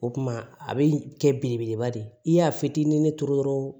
O kuma a bɛ kɛ belebeleba de ye i y'a fitinin ne turu dɔrɔn